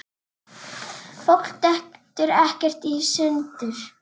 Langar að þvo sér.